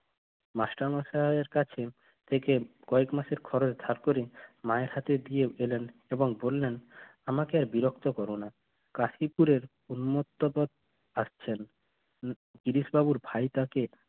master মশাইয়ের কাজে কয়েক মাসের খরচ মায়ের হাতে দিয়ে বলেন এবং বললেন আমাকে আর বিরক্ত করো না কাশিপুরে উন্মুক্ত কর থাকছেন উহ বাবুর ভাইটাকে